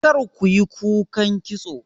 Kar kiyi kukan kitso!